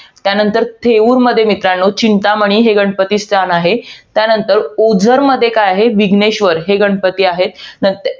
त्यानंतर, थेऊरमध्ये मित्रांनो, चिंतामणी हे गणपती स्थान आहे. त्यानंतर, ओझरमध्ये काय आहे? विघ्नेश्वर हे गणपती आहे. नंतर